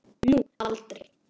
Nú eða aldrei.